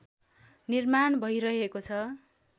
निर्माण भैरहेको छ